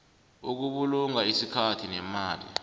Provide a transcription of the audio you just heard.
ukubulunga isikhathi nemali